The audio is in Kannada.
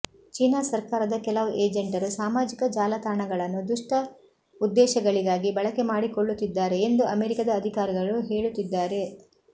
ಚೀನಾ ಸರ್ಕಾರದ ಕೆಲವು ಏಜೆಂಟರು ಸಾಮಾಜಿಕ ಜಾಲತಾಣಗಳನ್ನು ದುಷ್ಟ ಉದ್ದೇಶಗಳಿಗಾಗಿ ಬಳಕೆ ಮಾಡಿಕೊಳ್ಳುತ್ತಿದ್ದಾರೆ ಎಂದು ಅಮೆರಿಕದ ಅಧಿಕಾರಿಗಳು ಹೇಳುತ್ತಿದ್ದಾರೆ